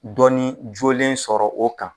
Dɔnni jolen sɔrɔ o kan.